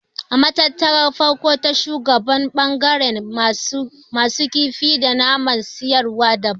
A Matattarar shaguna ɓangaren masu kifi da naman siyarwa daban.